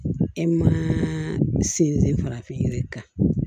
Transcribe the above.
E ma sinsin farafin yiri kan